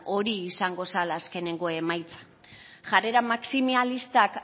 hori izango zela azkenengo emaitza jarrera maximalistak